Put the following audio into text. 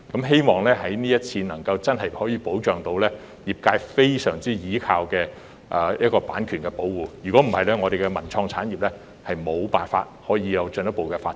希望這次真的能夠保障業界非常倚重的版權，否則我們的文創產業無法進一步發展。